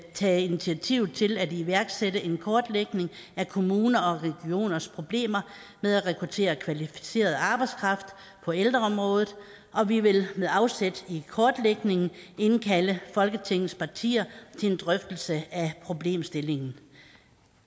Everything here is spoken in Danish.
tage initiativ til at iværksætte en kortlægning af kommuners og regioners problemer med at rekruttere kvalificeret arbejdskraft på ældreområdet og vi vil med afsæt i kortlægningen indkalde folketingets partier til en drøftelse af problemstillingen